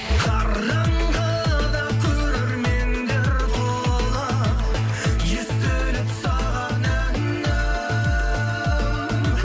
қараңғыда көрермендер толы естіліп саған әнім